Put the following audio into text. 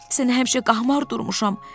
Sənə həmişə qahmar durmuşam.